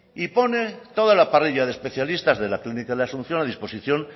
y pone toda la parrilla de especialistas de la clínica de la asunción a disposición